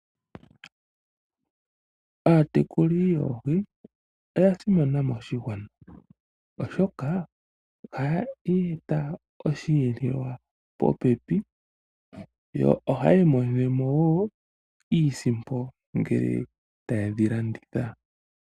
Aatekuli yoohi oya simana moshigwana oshoka ohaya eta oshiyelelwa popepi. Yo ohaya imonene mo wo iisimpo ngele taye dhi landitha.